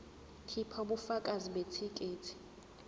khipha ubufakazi bethikithi